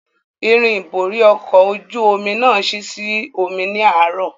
Irin ìborí ọkọ̀ ojú omi náà ṣí sí omi ní àárò